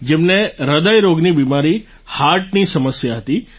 જેમને હ્રદય રોગની બિમારી હાર્ટની સમસ્યા હતી